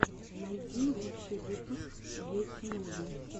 найди лучший выпуск гети муви